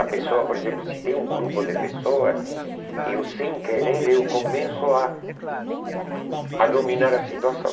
A pessoa, por exemplo, se tem um grupo de pessoas, eu sem querer, eu começo a a dominar a situação.